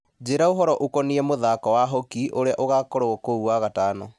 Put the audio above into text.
njĩra ũhoro ũkoniĩ mũthako wa hokĩ ũrĩa ũgakorwo kuo wagatano